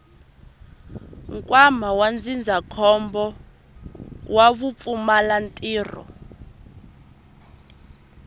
nkwama wa ndzindzakhombo wa vupfumalantirho